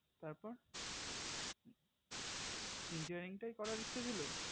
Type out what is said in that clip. তার পর engineering টাই করার ইচ্ছা ছিল